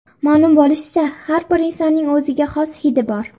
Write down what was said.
Ma’lum bo‘lishicha, har bir insonning o‘ziga xos hidi bor.